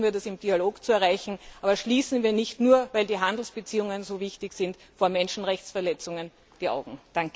Versuchen wir, das im Dialog zu erreichen, aber schließen wir nicht weil die Handelsbeziehungen so wichtig sind nur vor Menschenrechtsverletzungen die Augen.